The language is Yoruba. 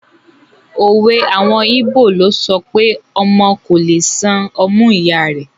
Òwe àwọn ìbó ló sọpé “ ọmọ kò le san ọmú ìya rẹ̀.